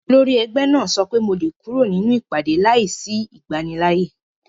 Olórí ẹgbẹ́ náà sọ pé mo lè kúrò nínú ìpàdé láìsí ìgbanilááyè